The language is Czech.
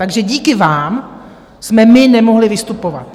Takže díky vám jsme my nemohli vystupovat.